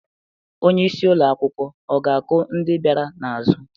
Onye isi ụlọ akwụkwọ ọ ga-akụ ndị bịara n'azụ?